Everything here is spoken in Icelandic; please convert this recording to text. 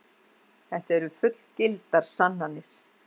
Þetta eru fullgildar sannanir.